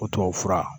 O tubabu fura